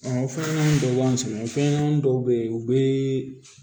o fɛn ɲɛnamanin dɔ b'an sɛgɛn fɛnɲɛnamani dɔw bɛ ye u bɛ